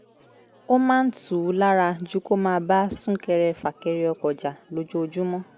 ó máa ń tù ú lára ju kó máa bá sún-kẹrẹ-fà-kẹrẹ ọkọ̀ jà lójoojúmọ́